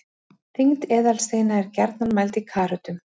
Þyngd eðalsteina er gjarnan mæld í karötum.